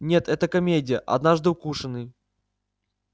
нет это комедия однажды укушенный